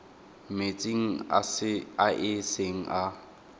metsing a e seng a